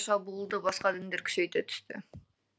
шабуылды басқа діндер күшейте түсті